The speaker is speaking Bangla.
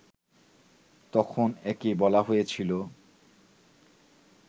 তখন একে বলা হয়েছিল